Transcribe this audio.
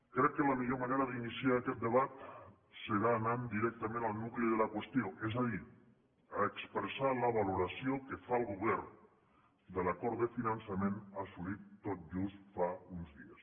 crec que la millor manera d’iniciar aquest debat serà anant directament al nucli de la qüestió és a dir a expressar la valoració que fa el govern de l’acord de finançament assolit tot just fa uns dies